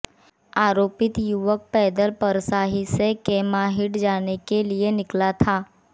आरोपित युवक पैदल परसाही से कैमाडीह जाने के लिए निकला था